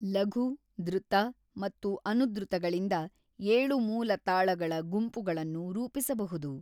ಲಘು, ದ್ರುತ ಮತ್ತು ಅನುದ್ರುತಗಳಿಂದ ಏಳು ಮೂಲ ತಾಳಗಳ ಗುಂಪುಗಳನ್ನು ರೂಪಿಸಬಹುದು.